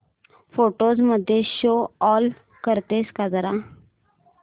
photos मध्ये show all करतेस का जरा